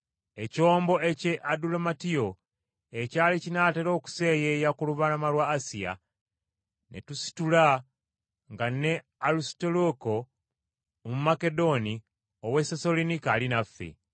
Ekyombo eky’e Adulamutiyo ekyali kinaatera okuseeyeya ku lubalama lwa Asiya; ne tusitula nga ne Alisutaluuko Omumakedoni ow’e Sessaloniika ali naffe.